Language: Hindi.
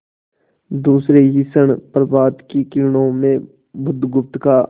दूसरे ही क्षण प्रभात की किरणों में बुधगुप्त का